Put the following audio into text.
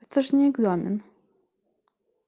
это же не экзамен